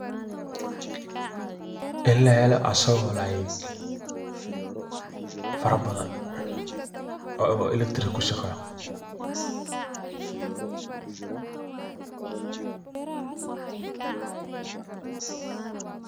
Ini lahelo asago [cs[like fara badan oo [cs[electric[cskushaqeeyo